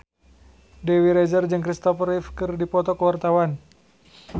Dewi Rezer jeung Christopher Reeve keur dipoto ku wartawan